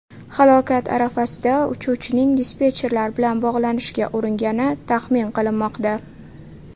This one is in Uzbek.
Halokat arafasida uchuvchining dispetcherlar bilan bog‘lanishga uringani taxmin qilinmoqda.